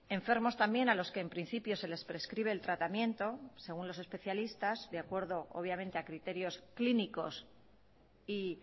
enfermos también a los que en principio se les prescribe el tratamiento según los especialistas de acuerdo obviamente a criterios clínicos y